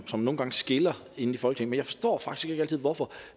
som nogle gange skiller inde i folketinget jeg forstår faktisk ikke altid hvorfor